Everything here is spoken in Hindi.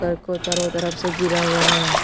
घर को चारों तरफ से घिरा हुआ है।